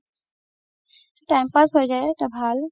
time pass হৈ যাই তও ভাল